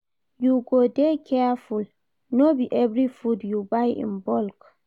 You go dey careful, no be every food you buy in bulk.